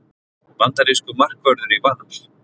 Bandarískur markvörður í Val